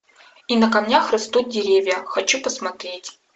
и на камнях растут деревья хочу посмотреть